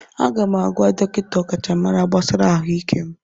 Aga m agwa dọkịta ọkachamara gbasara ahụike m.